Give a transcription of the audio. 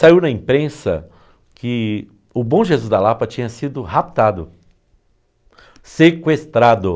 Saiu na imprensa que o bom Jesus da Lapa tinha sido raptado, sequestrado.